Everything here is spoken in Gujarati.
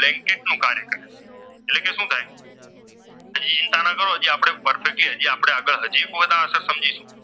આપડે આગળ હાજી પોયણાં આસાન સમજીશુ